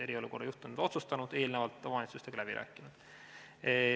Eriolukorra juht on need otsustanud ja eelnevalt omavalitsustega läbi rääkinud.